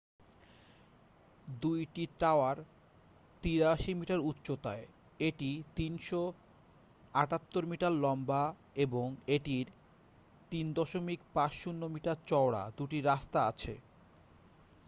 2 টি tower 83 metre উচ্চতা য় এটি 378 মিটার লম্বা এবং এটির 3.50 মিটার চওড়া 2টি রাস্তা আছে